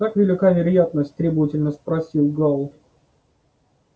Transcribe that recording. как велика вероятность требовательно спросил гаал